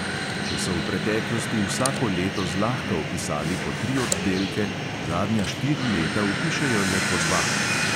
Če so v preteklosti vsako leto zlahka vpisali po tri oddelke, zadnja štiri leta vpišejo le po dva.